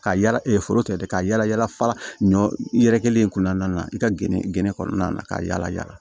Ka yala e foro tigɛ dɛ ka yala yala ɲɔ yɛrɛ kelen kun nana i ka gene gene kɔnɔna na ka yala yala